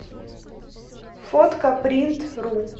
фоткапринтру